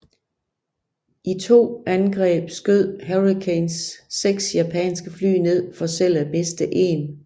I to angreb skød Hurricanes seks japanske fly ned for selv at miste én